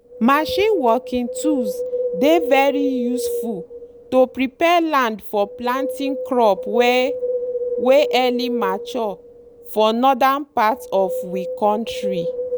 machine working tools dey very useful to prepare land for planting crop wey wey early mature for northern part of we! kontri.